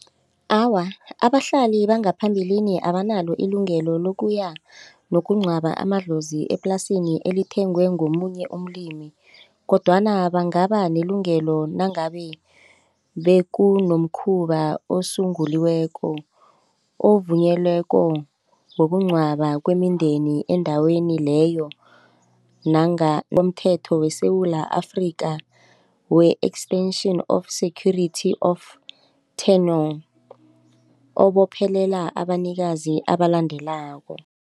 Awa, abahlali bangaphambilini abanalo ilungelo lokuya nokungcwaba amadlozi eplasini elithengwe ngomunye umlimi kodwana bangaba nelungelo nangabe bekunomkhuba osunguliweko ovunyelweko wokungcwaba kwemindeni endaweni leyo nomthetho weSewula Afrika we-Extension of Security of Tenure obophelela abanikazi abalandelako.